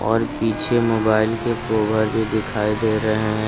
और पीछे मोबाइल के कोवर भी दिखाई दे रहे हैं।